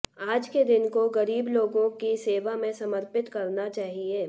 आज के दिन को गरीब लोगों की सेवा में समर्पित करना चाहिए